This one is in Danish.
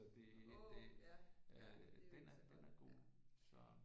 Så det det den er den er god så